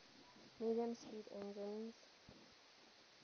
medium speed engines